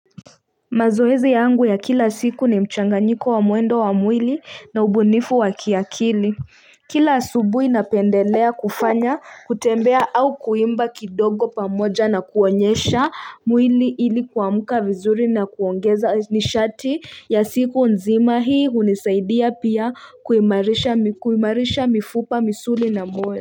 Mazoezi yangu ya kila siku ni mchanganyiko wa muendo wa mwili na ubunifu wa kiakili kila subuhi napendelea kufanya kutembea au kuimba kidogo pamoja na kuonyesha mwili ili kuamuka vizuri na kuongeza nishati ya siku nzima hii unisaidia pia kuimarisha mifupa misuli na mojyo.